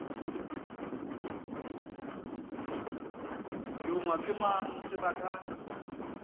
longwa ke mang tsebe ka